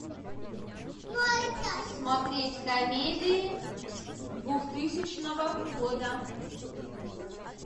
смотреть комедии двухтысячного года